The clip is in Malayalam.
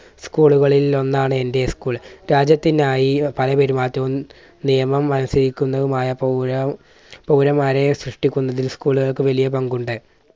school കളിൽ ഒന്നാണ് എൻറെ school. രാജ്യത്തിനായി പല പെരുമാറ്റവും നിയമം അനുസരിക്കുന്നതുമായ പൗര പൗരന്മാരെ സൃഷ്ടിക്കുന്നതിൽ school കൾക്ക് വലിയ പങ്കുണ്ട്.